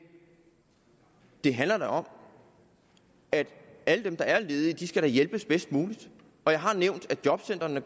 det handler da om at alle dem der er ledige skal hjælpes bedst muligt og jeg har nævnt at jobcentrene